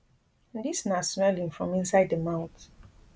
dis na swelling from inside di mouth